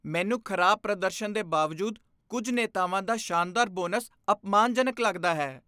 ਮੈਨੂੰ ਖ਼ਰਾਬ ਪ੍ਰਦਰਸ਼ਨ ਦੇ ਬਾਵਜੂਦ ਕੁੱਝ ਨੇਤਾਵਾਂ ਦਾ ਸ਼ਾਨਦਾਰ ਬੋਨਸ ਅਪਮਾਨਜਨਕ ਲੱਗਦਾ ਹੈ।